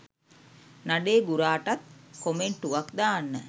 නඩේ ගුරාටත් කොමෙන්ටුවක් දාන්න